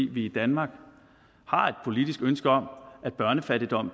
vi i danmark har et politisk ønske om at børnefattigdom